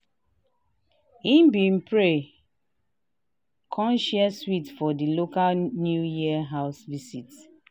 he been pray con share sweet for di local new year house visit.